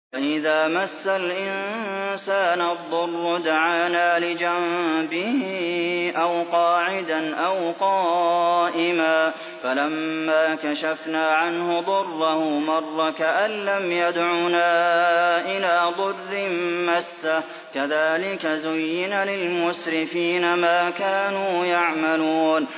وَإِذَا مَسَّ الْإِنسَانَ الضُّرُّ دَعَانَا لِجَنبِهِ أَوْ قَاعِدًا أَوْ قَائِمًا فَلَمَّا كَشَفْنَا عَنْهُ ضُرَّهُ مَرَّ كَأَن لَّمْ يَدْعُنَا إِلَىٰ ضُرٍّ مَّسَّهُ ۚ كَذَٰلِكَ زُيِّنَ لِلْمُسْرِفِينَ مَا كَانُوا يَعْمَلُونَ